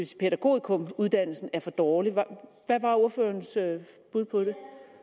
sige pædagogikumuddannelsen er for dårlig hvad var ordførerens bud på det